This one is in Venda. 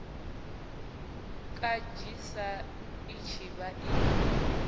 kanzhisa i tshi vha i